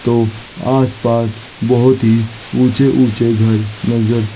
तो आसपास बहुत ही ऊंचे ऊंचे घर नजर--